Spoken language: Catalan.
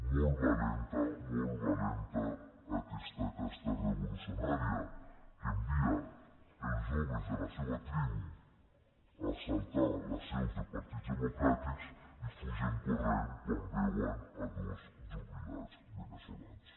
molt valenta molt valenta aquesta casta revolucionària que envia els joves de la seva tribu a assaltar les seus de partits democràtics i fugen corrent quan veuen dos jubilats veneçolans